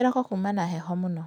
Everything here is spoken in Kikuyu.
Kĩroko kuma na heho mũno